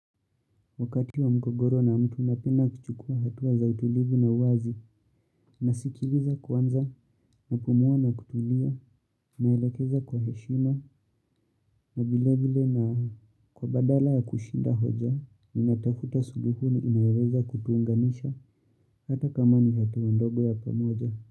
Wakati wa mgogoro na mtu napenda kuchukua hatuwa za utulivu na wazi, nasikiliza kwanza, napumua na kutulia, naelekeza kwa heshima, na vile vile na kwa badala ya kushinda hoja, ninatafuta suluhuni inayoweza kutuunganisha hata kama ni hatua ndogo ya pamoja.